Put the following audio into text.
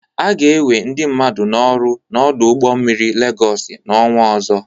A ga-enwe ndị mmadu n'ọrụ n'ọdụ ụgbọ mmiri Legọsị n'ọnwa ọzọ.